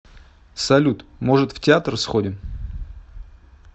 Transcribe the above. салют может в театр сходим